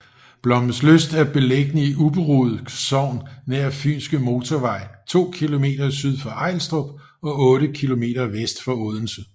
Blommenslyst er beliggende i Ubberud Sogn nær Fynske Motorvej to kilometer syd for Ejlstrup og otte kilometer vest for Odense